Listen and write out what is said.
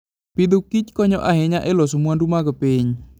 Agriculture and Foodkonyo ahinya e loso mwandu mag piny.